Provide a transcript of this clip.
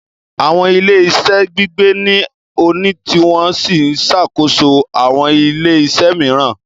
Àwọn ilé-iṣẹ́ Gbígbé ní o ni tí wọ́n sì ń ṣàkóso àwọn ilé-iṣẹ́ mìíràn